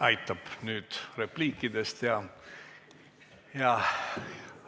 Aitab nüüd repliikidest!